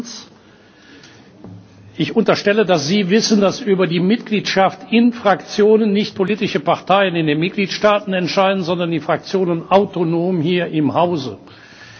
Erstens Ich unterstelle, dass Sie wissen, dass über die Mitgliedschaft in Fraktionen nicht politische Parteien in den Mitgliedstaten entscheiden, sondern die Fraktionen hier im Hause autonom.